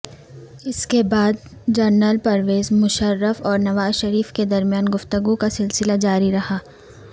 اس کے بعد جنرل پرویز مشرف اور نوازشریف کے درمیان گفتگو کا سلسلہ جاری رہا